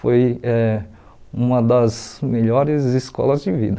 Foi eh uma das melhores escolas de vida.